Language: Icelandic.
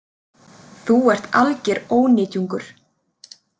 Þú ert alger ónytjungur